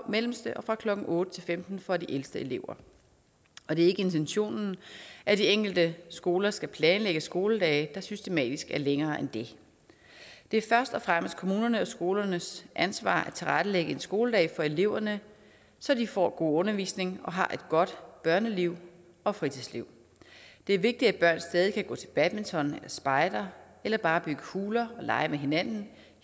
mellemste og klokken otte femten for de ældste elever og det er ikke intentionen at de enkelte skoler skal planlægge skoledage der systematisk er længere end det det er først og fremmest kommunernes og skolernes ansvar at tilrettelægge en skoledag for eleverne så de får god undervisning og har et godt børneliv og fritidsliv det er vigtigt at børn stadig kan gå til badminton eller spejder eller bare bygge huler og lege med hinanden